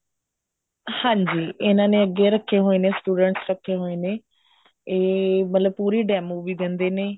ਹਾਂਜੀ ਇਹਨਾ ਨੇ ਅੱਗੇ ਰੱਖੇ ਹੋਏ ਨੇ students ਅੱਗੇ ਰੱਖੇ ਹੋਏ ਨੇ ਇਹ ਮਤਲਬ ਪੂਰੀ demo ਵੀ ਦਿੰਦੇ ਨੇ